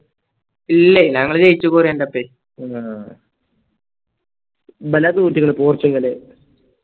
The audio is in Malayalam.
ഇല്ലേയ് ഞങ്ങള് ജയിച്ചു കൊറിയാന്റോപ്പെ ഇബല തോറ്റുക്കണ് പോർച്ചുഗല്